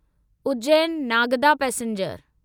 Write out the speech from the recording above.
Ujjain Nagda passenger